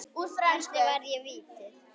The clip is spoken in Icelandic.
Hvernig varði ég vítið?